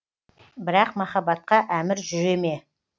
бірақ махаббатқа әмір жүре ме